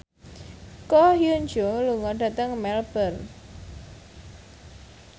Ko Hyun Jung lunga dhateng Melbourne